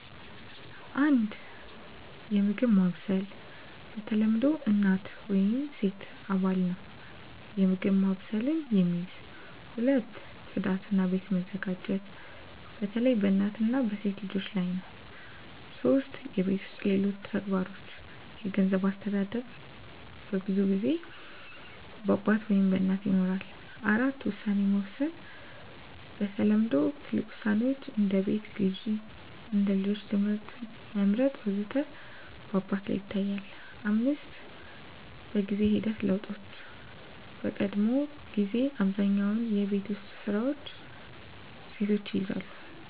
1. የምግብ ማብሰል በተለምዶ እናት ወይም ሴት አባል ነው የምግብ ማብሰልን የሚይዝ። 2. ጽዳት እና ቤት መዘጋጀት በተለይ በእናት ወይም በሴት ልጆች ላይ ነው 3. የቤት ውስጥ ሌሎች ተግባሮች የገንዘብ አስተዳደር በብዙ ጊዜ በአባት ወይም በእናት ይኖራል። 4. ውሳኔ መውሰድ በተለምዶ ትልቅ ውሳኔዎች (እንደ ቤት ግዢ፣ እንደ ልጆች ትምህርት መመርጥ ወዘተ) በአባት ላይ ይታያል፣ 5. በጊዜ ሂደት ለውጦች በቀድሞ ጊዜ አብዛኛውን የቤት ውስጥ ስራዎች ሴቶች ይይዛሉ